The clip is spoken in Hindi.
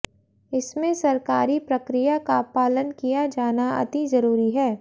इसमें सरकारी प्रक्रिया का पालन किया जाना अति जरूरी है